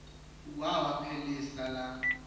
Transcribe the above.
wawa phelisa la